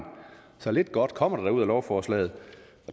så lidt godt kommer der da ud af lovforslaget